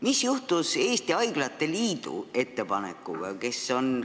Mis juhtus Eesti Haiglate Liidu ettepanekuga?